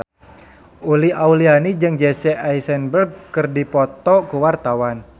Uli Auliani jeung Jesse Eisenberg keur dipoto ku wartawan